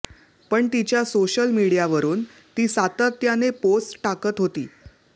पण तिच्या सोशल मीडियावरून ती सातत्याने पोस्ट टाकत होती